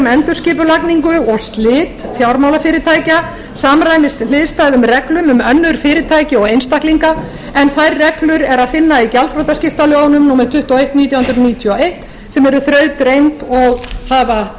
endurskipulagningu og slit fjármálafyrirtækja samræmist hliðstæðum reglum um önnur fyrirtæki og einstaklinga en þær reglur er að finna í gjaldþrotaskiptalögunum númer tuttugu og eitt nítján hundruð níutíu og eitt sem eru þrautreynd og hafa